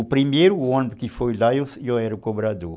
O primeiro ônibus que foi lá, eu era o cobrador.